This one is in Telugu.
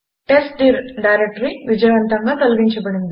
టెస్ట్డిర్ డైరెక్టరీ విజయవంతంగా తొలగించబడింది